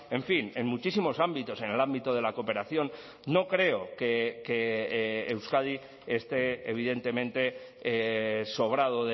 en fin en muchísimos ámbitos en el ámbito de la cooperación no creo que euskadi este evidentemente sobrado